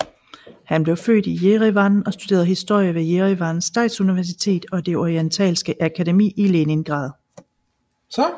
Han blev født i Jerevan og studerede historie ved Jerevan Statsuniversitet og det Orientalske Akademi i Leningrad